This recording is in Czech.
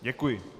Děkuji.